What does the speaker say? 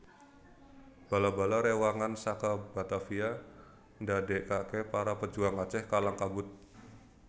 Bala bala rewangan saka Batavia ndadekake para pejuang Aceh kalang kabut